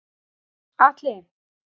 Atli